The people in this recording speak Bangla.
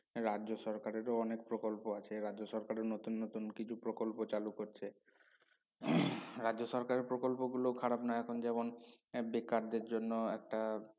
রাজ্য সরকারেরও অনেক প্রকল্প আছে রাজ্য সরকার নতুন নতুন কিছু প্রকল্প চালু করছে রাজ্য সরকারের প্রকল্পগুলো খারাপ না এখন যেমন আহ বেকারদের জন্য একটা